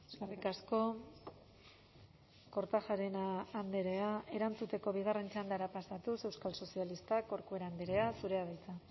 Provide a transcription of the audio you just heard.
eskerrik asko kortajarena andrea erantzuteko bigarren txandara pasatuz euskal sozialistak corcuera andrea zurea da hitza